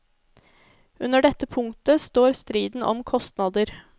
Under dette punktet står striden om kostnader.